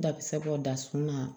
Da bɛ se k'o da sun na